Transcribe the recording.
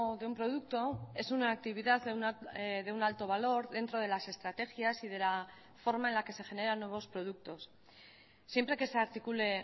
de un producto es una actividad de un alto valor dentro de las estrategias y de la forma en la que se genera nuevos productos siempre que se articule